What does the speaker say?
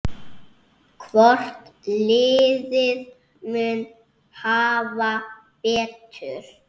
Hvort liðið mun hafa betur?